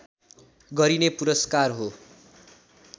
गरिने पुरस्कार हो